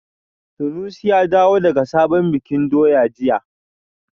Sanusi ya dawo daga sabon bikin doya jiya